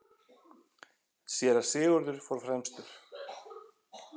Síra Sigurður fór fremstur.